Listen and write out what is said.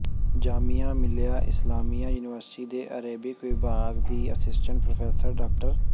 Jamia Millia Islamia university ਦੇ Arabic ਵਿਭਾਗ ਦੀ ਅਸਿਸਟੈਂਟ ਪ੍ਰੋਫ਼ੈਸਰ ਡਾ